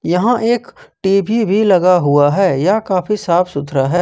यहां एक टी_वी भी लगा हुआ है यह काफी साफ सुथरा है।